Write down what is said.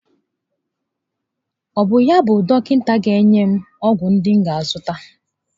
Ọ bụ yá bụ dọkịta ga enye m ọgwụ ndi m ga a zụta?